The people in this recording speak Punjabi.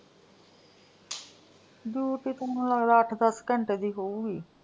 duty ਤੇ ਮੈਨੂੰ ਲਗਦਾ ਅੱਠ ਦੱਸ ਘੰਟੇ ਦੀ ਹੋਊਗੀ।